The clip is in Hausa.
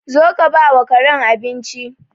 Zo ka bawa Karen abinci.